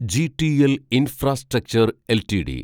GTL infrastructure LTD